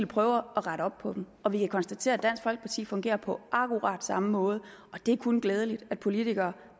prøve at rette op på dem og vi kan konstatere at dansk folkeparti fungerer på akkurat samme måde og det er kun glædeligt at politikere